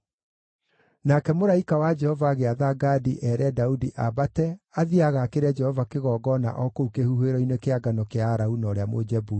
Nake mũraika wa Jehova agĩatha Gadi eere Daudi aambate athiĩ agaakĩre Jehova kĩgongona o kũu kĩhuhĩro-inĩ kĩa ngano kĩa Arauna ũrĩa Mũjebusi.